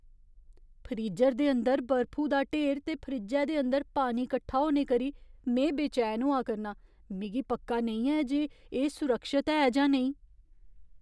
Freezer दे अंदर बर्फु दा ढेर ते फ्रिज्जै दे अंदर पानी कट्ठा होने करी में बेचैन होआ करनां, मिगी पक्का नेईं ऐ जे एह् सुरक्षत ऐ जां नेईं।